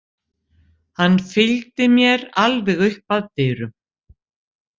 Hann fylgdi mér alveg upp að dyrum.